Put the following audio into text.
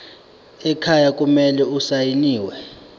ekhaya kumele asayiniwe